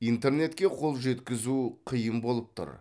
интернетке қол жеткізу қиын болып тұр